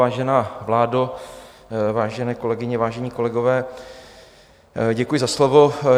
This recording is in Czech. Vážená vládo, vážené kolegyně, vážení kolegové, děkuji za slovo.